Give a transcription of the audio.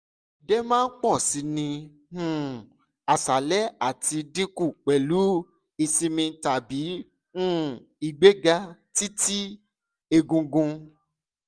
idẹma pọ si ni um aṣalẹ ati dinku pẹlu isinmi tabi um igbega ti ti egungun